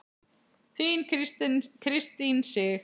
Þín Kristín Sig.